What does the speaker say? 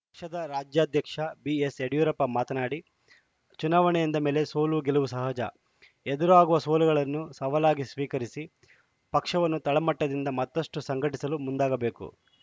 ಕ್ಷದ ರಾಜ್ಯಾಧ್ಯಕ್ಷ ಬಿಎಸ್‌ಯಡಿಯೂರಪ್ಪ ಮಾತನಾಡಿ ಚುನಾವಣೆ ಎಂದ ಮೇಲೆ ಸೋಲುಗೆಲುವು ಸಹಜ ಎದುರಾಗುವ ಸೋಲುಗಳನ್ನು ಸವಾಲಾಗಿ ಸ್ವೀಕರಿಸಿ ಪಕ್ಷವನ್ನು ತಳಮಟ್ಟದಿಂದ ಮತ್ತಷ್ಟುಸಂಘಟಿಸಲು ಮುಂದಾಗಬೇಕು